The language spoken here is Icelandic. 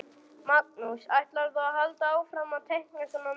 Magnús: Ætlarðu að halda áfram að teikna svona myndir?